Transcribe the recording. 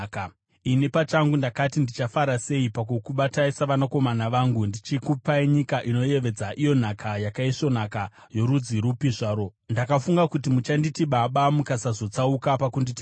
“Ini pachangu ndakati, “ ‘Ndichafara sei pakukubatai savanakomana vangu uye ndichikupai nyika inoyevedza, iyo nhaka yakaisvonaka yorudzi rupi zvarwo.’ Ndakafunga kuti muchanditi ‘Baba’ mukasazotsauka pakunditevera.